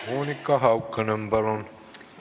Monika Haukanõmm, palun!